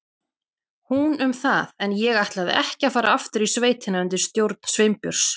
Hún um það, en ég ætlaði ekki að fara aftur í sveitina undir stjórn Sveinbjörns.